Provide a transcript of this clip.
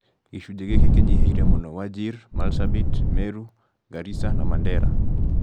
gĩcunjĩ gĩkĩ kĩnyihĩire mũno wajir, marsabit, meru garis ana mandera